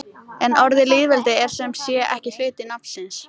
Mor kom inn á sem varamaður í sigrinum gegn Króatíu.